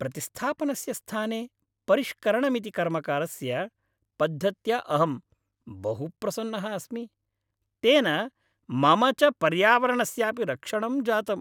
प्रतिस्थापनस्य स्थाने परिष्करणमिति कर्मकरस्य पद्धत्या अहं बहु प्रसन्नः अस्मि। तेन मम च पर्यावरणस्यापि रक्षणं जातम्।